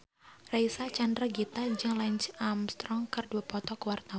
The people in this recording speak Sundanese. Reysa Chandragitta jeung Lance Armstrong keur dipoto ku wartawan